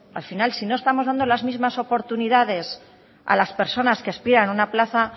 al final si no estamos dando las mismas oportunidades a las personas que aspiran a una plaza